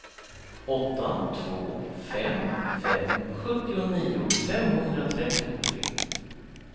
åtta två fem fem sjuttionio femhundratrettiotre